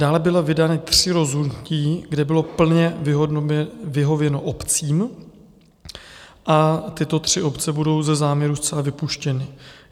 Dále byla vydána tři rozhodnutí, kde bylo plně vyhověno obcím, a tyto tři obce budou ze záměru zcela vypuštěny.